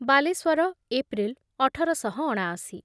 Baleswar: April ଅଠର ଶହ ଅଣାଅଶୀ